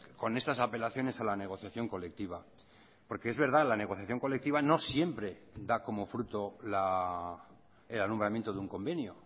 con estas apelaciones a la negociación colectiva porque es verdad la negociación colectiva no siempre da como fruto el alumbramiento de un convenio